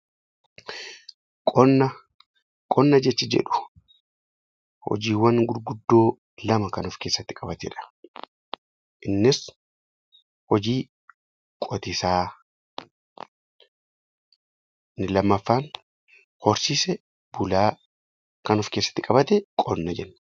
Qonna jechi jedhu hojiiwwan gurguddoo lama kan of keessatti qabatudha. Innis hojii qotiisaa inni lammaffaan hojii horsiisa loonii kan of keessatti qabatudha